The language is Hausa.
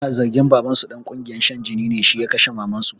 Ana zargin babansu ɗan ƙungiyar shan jini ne, shi ya kashe mamansu